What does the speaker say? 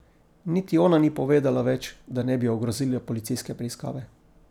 Niti ona ni povedala več, da ne bi ogrozila policijske preiskave.